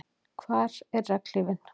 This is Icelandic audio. Hvar er regnhlífin?